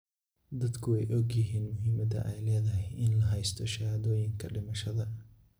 Dadku way ogyihiin muhiimadda ay leedahay in la haysto shahaadooyinka dhimashada.